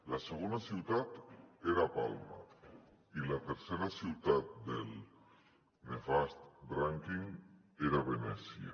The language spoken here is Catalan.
la segona ciutat era palma i la tercera ciutat del nefast rànquing era venècia